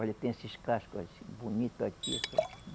Olha, tem esses cascos bonito aqui.